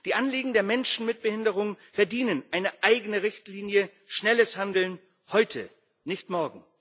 Die Anliegen der Menschen mit Behinderung verdienen eine eigene Richtlinie und schnelles Handeln heute, nicht morgen.